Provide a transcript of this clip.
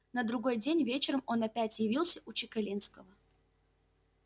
на другой день вечером он опять явился у чекалинского